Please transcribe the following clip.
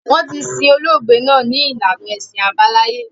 Wọn tí sin olóògbé náà ni ìlànà ẹṣin àbáláyé